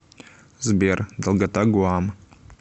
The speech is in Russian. сбер долгота гуам